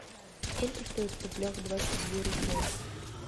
сколько стоит в рублях двадцать две рупии